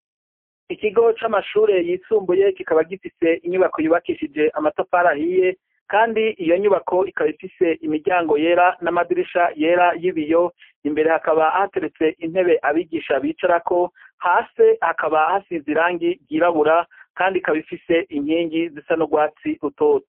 Ikigo c'amashure yisumbuye kikaba gifise inyubako yubakishije amatafari ahiye, kandi iyo nyubako ikaba ifise imiryango yera n'amadirisha yera y'ibiyo. Imbere hakaba hateretse intebe abigisha bicarako. Hasi hakaba hasize irangi ryirabura, kandi ikaba ifise inkingi zisa n'urwatsi rutoto.